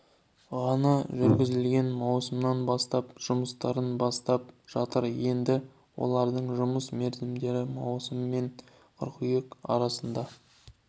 ғана жүргізілген маусымнан бастап жұмыстарын бастап жатыр енді олардың жұмыс мерзімдері маусым мен қыркүйек арасында